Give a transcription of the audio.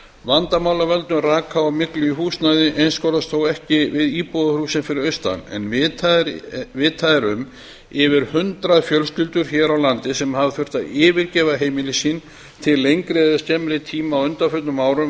vandamál af völdum raka og myglu í húsnæði einskorðast þó ekki við íbúðarhúsin fyrir austan en vitað er um yfir hundrað fjölskyldur hér á landi sem hafa þurft að yfirgefa heimili sín til lengri eða skemmri tíma á undanförnum árum